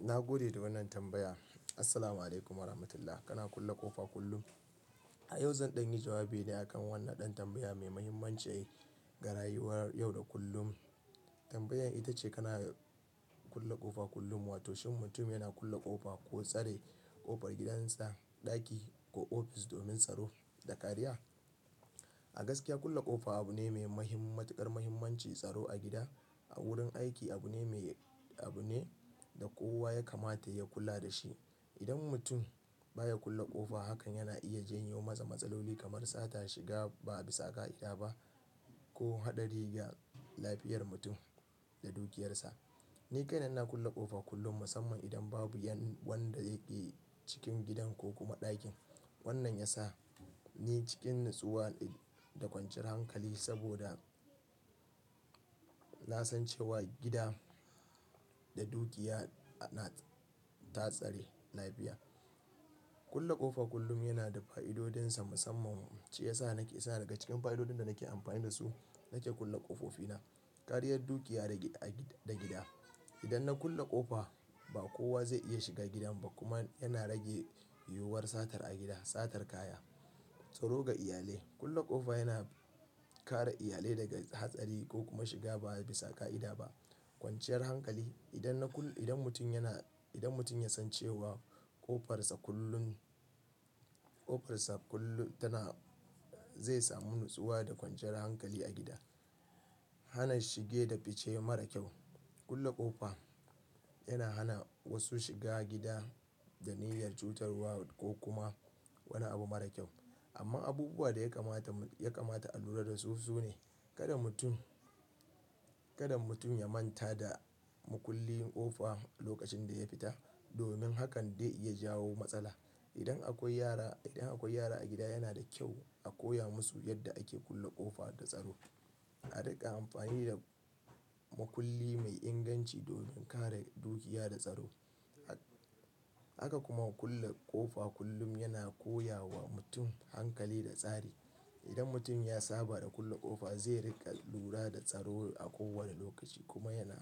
Na gode da wannan tambaya. Assalamu'alaikum warahmatullahi. Kana kulle ƙofa kullum? A yau zan ɗan yi jawabi ne akan wannan ɗan tambaya mai mahimmanci ga rayuwar yau da kullum, tambayar ita ce kana kulle ƙofa kullum wato shin mutum yana kulle ƙofa koh tsare ƙofar gidan sa ɗaki koh Office domin tsaro da kariya. A gaskiya kulle ƙofa abu ne mai matuƙar mahimmanci tsaro a gida, a wurin aiki abu ne mai abu ne da kowa ya kamata ya kula da shi. Idan mutum baya kulle ƙofa hakan yana iya janyo masa matsaloli kamar sata shiga ba bisa ƙa'ida ba ko haɗari ga lafiyar mutum da dukiyarsa. Ni kaina ina kulle ƙofa kullum musamman idan babu wanda yake cikin gidan ko kuma ɗakin. Wannan ya sa ni cikin natsuwa da kwanciyar hankali saboda na san cewa gida da dukiya na ta tsare lafiya. Kulle ƙofa kullum yana da fa'idodinsa musamman ce ya sa nake sa daga cikin fa'idodin da nake amfani da su nake kulle ƙofofi na. Ƙariyan dukiya da gida. Idan na kulle ƙofa ba kowa zai iya shiga gidan ba kuma yana rage yiwuwar satar a gida, satar kaya. Tsaro ga iyalai. Kulle ƙofa yana kare iyalai daga hatsari ko kuma shiga ba bisa ƙa'ida ba. Kwanciyar hankali. Idan na kulle, idan mutum yana, idan mutum ya san cewa ƙofarsa kullun, ƙofarsa kullum tana zai samu nutsuwa da kwanciyar hankali a gida. Hana shige da fice mara kyau. Kulle ƙofa yana hana wasu shiga gida da niyyar cutarwa ko kuma wani abu mara kyau. Amma abubuwa da ya kamata, ya kamata a lura da su sune. Kada mutum, kada mutum ya manta da makulli ƙofa lokacin da ya fita domin hakan dai iya jawo matsala. Idan akwai yara, idan akwai yara a gida yana da kyau a koya musu yadda ake kulle ƙofa da tsaro. A riƙa amfani da makulli mai inganci domin kare dukiya da tsaro. Haka kuma kulle ƙofa kullum yana koya wa mutum hankali da tsari. Idan mutum ya saba da kulle ƙofa zai riƙa lura da tsaro a kowane lokaci kuma yana,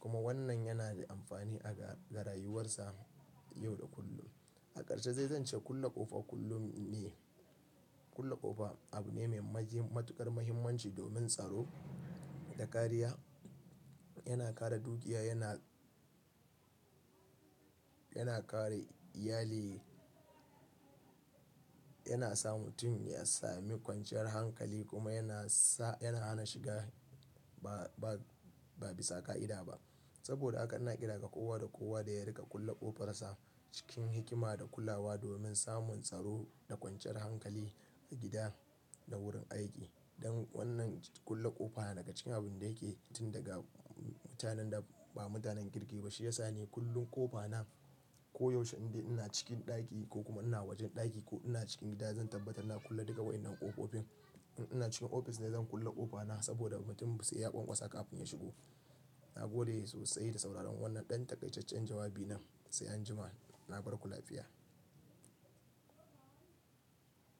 kuma wannan yana da amfani a ga rayuwarsa yau da kullum. A ƙarshe zai zance kulle ƙofa kullum ne. Kulle ƙofa abu ne mai matuƙar mahimmanci domin tsaro da kariya. Yana kare dukiya, yana, yana kare iyali, yana sa mutum ya sami kwanciyar hankali kuma yana sa, yana hana shiga ba, ba bisa ƙa'ida ba. Saboda haka na ƙira ga kowa da kowa da ya riƙa kulle ƙofarsa cikin hikima da kulawa domin samun tsaro da kwanciyar hankali a gida da wurin aiki. Don wannan kulle ƙofa daga cikin abin da yake tun daga mutanen da ba mutanen kirki ba shi ya sa ni kullum ƙofa na koyaushe inde ina cikin ɗaki ko kuma ina wajen ɗaki ko ina cikin gida zan tabbatar na kulle duka waƴannan ƙofofi. In ina cikin ofis dai zan kulle ƙofa na saboda mutum ba sai ya ƙanƙwasa kafin ya shigo. Nagode sosai da sauraren wannan ɗan takaitaccen jawabi nan. Sai anjima. Na bar ku lafiya.